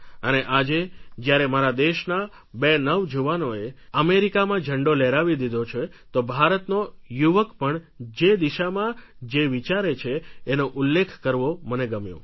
અને આજે જ્યારે મારા દેશના બે નવજવાનોએ અમેરિકામાં ઝંડો લહેરાવી દીધો છે તો ભારતનો યુવક પણ જે દિશામાં જે વિચારે છે એનો ઉલ્લેખ કરવો મને ગમ્યો